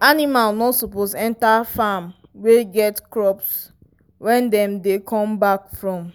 animal no suppose enter farm wey get crops when dem dey come back from